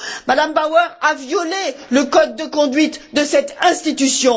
M me Bauer a violé le code de conduite de cette institution.